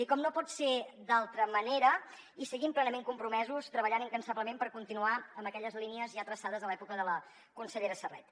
i com no pot ser d’altra manera hi seguim plenament compromesos treballant incansablement per continuar amb aquelles línies ja traçades de l’època de la consellera serret